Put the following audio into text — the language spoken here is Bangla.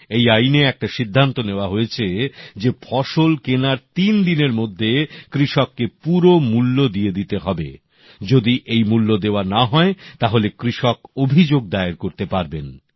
এই আইনে এটা সিদ্ধান্ত নেওয়া হয়েছে যে ফসল কেনার তিন দিনের মধ্যে কৃষককে পুরো মূল্য দিয়ে দিতে হবে যদি এই মূল্য দেওয়া না হয় তাহলে কৃষক অভিযোগ দায়ের করতে পারবেন